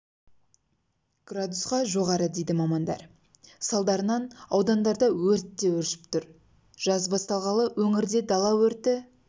градусқа жоғары дейді мамандар салдарынан аудандарда өрт те өршіп тұр жаз басталғалы өңірде дала өрті